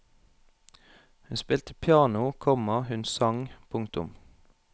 Hun spilte piano, komma hun sang. punktum